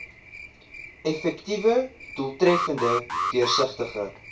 effektiewe doeltreffende deursigtige